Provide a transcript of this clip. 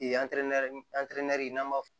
n'an b'a fɔ